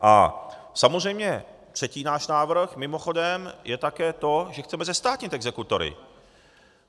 A samozřejmě třetí náš návrh mimochodem je také to, že chceme zestátnit exekutory.